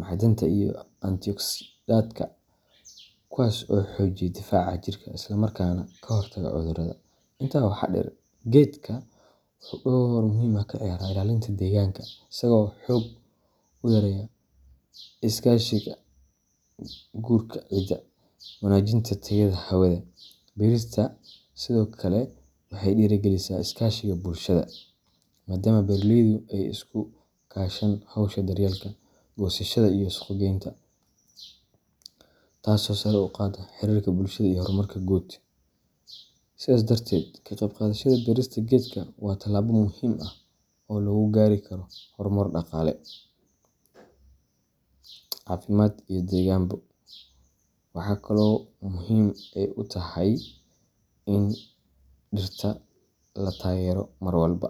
macdanta iyo antioxidantska, kuwaas oo xoojiya difaaca jirka isla markaana ka hortaga cudurrada. Intaa waxaa dheer, geedka wuxuu door muhiim ah ka ciyaaraa ilaalinta deegaanka, isagoo xoog u yareeya nabaadguurka ciidda, wanaajiyana tayada hawada. Beerista sidoo kale waxay dhiirrigelisaa iskaashiga bulshada, maadaama beeraleydu ay iska kaashadaan hawsha daryeelka, goosashada, iyo suuqgeynta, taasoo sare u qaadda xiriirka bulshada iyo horumarka guud. Sidaas darteed, ka qeyb qaadashada beerista geedka waa tallaabo muhiim ah oo lagu gaari karo horumar dhaqaale, caafimaad iyo deegaanba. Waxa kale ay muhim u taxay ini dirta la tagero mar walba.